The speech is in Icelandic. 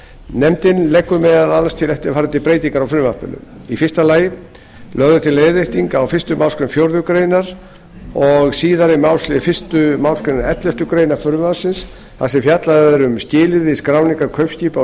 nefndin leggur meðal annars til eftirfarandi breytingar á frumvarpinu fyrstu lögð er til leiðrétting á fyrstu málsgrein fjórðu greinar og síðari málslið fyrstu málsgrein elleftu greinar frumvarpsins þar sem fjallað er um skilyrði skráningar kaupskipa á